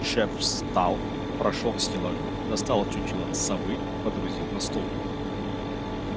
шеф встал прошёл к стеллажу достал чучело совы водрузил на стол